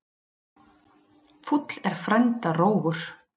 Fúll er frænda rógur.